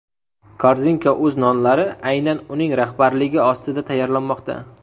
korzinka.uz nonlari aynan uning rahbarligi ostida tayyorlanmoqda.